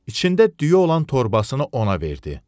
içində düyü olan torbasını ona verdi.